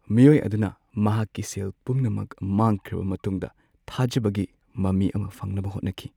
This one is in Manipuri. ꯃꯤꯑꯣꯏ ꯑꯗꯨꯅ ꯃꯍꯥꯛꯀꯤ ꯁꯦꯜ ꯄꯨꯝꯅꯃꯛ ꯃꯥꯡꯈ꯭ꯔꯕ ꯃꯇꯨꯡꯗ ꯊꯥꯖꯕꯒꯤ ꯃꯃꯤ ꯑꯃ ꯐꯪꯅꯕ ꯍꯣꯠꯅꯈꯤ ꯫